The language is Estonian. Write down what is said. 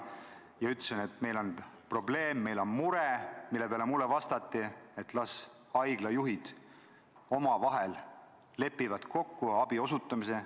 Ma ütlesin, et meil on probleem, meil on mure, mille peale mulle vastati, et las haiglajuhid omavahel lepivad kokku abi osutamises.